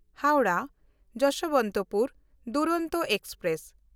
Howrah Yesvantpur Duronto express